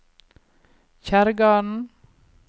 Kjerrgarden